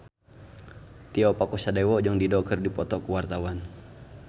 Tio Pakusadewo jeung Dido keur dipoto ku wartawan